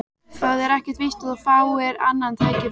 Það er ekkert víst að þú fáir annað tækifæri